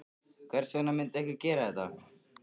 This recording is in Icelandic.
Hvers vegna myndi einhver gera þetta?